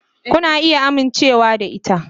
Kuna iya amincewa da ita.